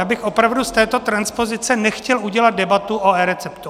Já bych opravdu z této transpozice nechtěl udělat debatu o eReceptu.